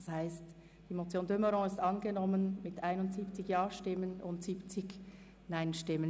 Das heisst, die Motion de Meuron ist angenommen mit 71 Ja- zu 70 NeinStimmen bei 5 Enthaltungen.